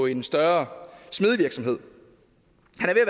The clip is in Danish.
en større smedevirksomhed